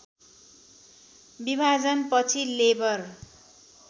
विभाजन पछि लेबर